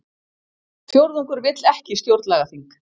Fjórðungur vill ekki stjórnlagaþing